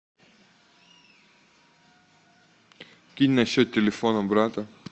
кинь на счет телефона брата